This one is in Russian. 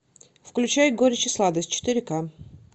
включай горечь и сладость четыре ка